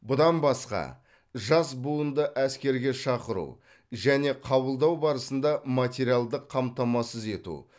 бұдан басқа жас буынды әскерге шақыру және қабылдау барысында материалдық қамтамасыз ету